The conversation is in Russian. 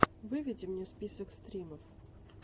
выведи мне список стримов